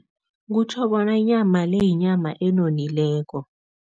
Kutjho bona inyama le, yinyama enonileko.